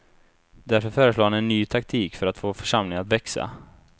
Därför föreslår han en ny taktik för att få församlingarna att växa.